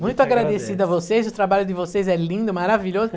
Muito agradecido a vocês, o trabalho de vocês é lindo, maravilhoso.